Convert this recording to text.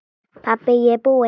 Pabbi ég er búinn!